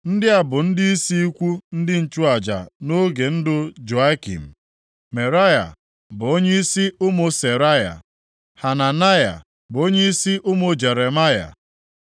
Ndị a bụ ndịisi ikwu ndị nchụaja nʼoge ndụ Joiakim. Meraia bụ onyeisi ụmụ Seraya, Hananaya bụ onyeisi ụmụ Jeremaya,